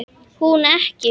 Hún ekki.